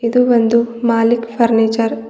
ಇದು ಒಂದು ಮಾಲಿಕ್ ಫರ್ನಿಚರ್ .